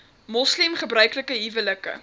moslem gebruiklike huwelike